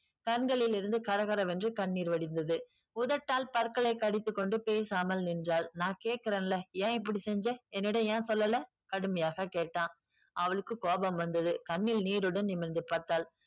கண்களில் இருந்து கரகரவென்று கண்ணீர் வடிந்தது உதட்டால் பற்களை கடித்துக் கொண்டு பேசாமல் நின்றாள் நான் கேட்கிறன்ல ஏன் இப்படி செஞ்ச என்னிடம் ஏன் சொல்லல கடுமையாக கேட்டான் அவளுக்கு கோபம் வந்தது கண்ணில் நீருடன் நிமிர்ந்து பார்த்தாள்